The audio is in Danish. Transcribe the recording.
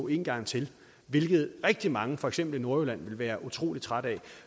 en gang til hvilket rigtig mange for eksempel i nordjylland ville være utrolig trætte af